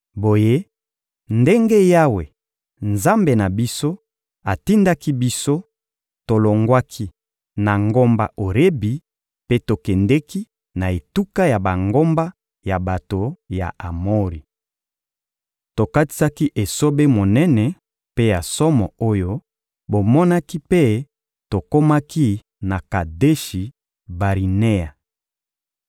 Boye, ndenge Yawe, Nzambe na biso, atindaki biso, tolongwaki na ngomba Orebi mpe tokendeki na etuka ya bangomba ya bato ya Amori. Tokatisaki esobe monene mpe ya somo oyo bomonaki mpe tokomaki na Kadeshi-Barinea.